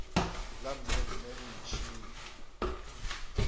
la mme mme o ntšhiile